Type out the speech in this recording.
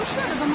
Xilas etmişlər.